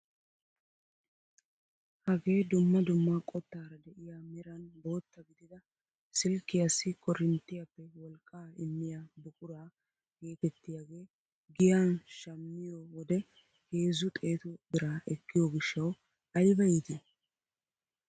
Hagee dumma dumma qottaara de'iyaa meran bootta gidida silkkiyaassi korinttiyaappe wolqqaa immiyaa buquraa getettiyaagee giyan shammiyoo wode heezzu xeetu biraa ekkiyoo gishshawu ayba iitii!